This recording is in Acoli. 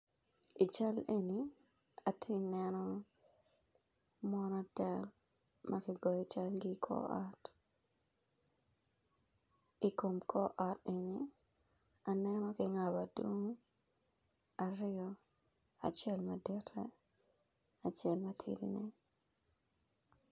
Ical eni atye neno mon adek makigoyo calgi i kor ot, i kom kor ot eni aneno kingabo adungu aryo acel madite ki acel matidi ne